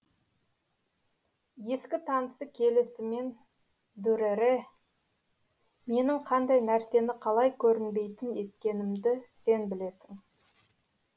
ескі танысы келісімен дүрэрэ менің қандай нәрсені қалай көрінбейтін еткенімді сен білесің